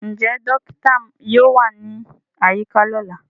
Njẹ dokita yoo wa ni ayika lọla?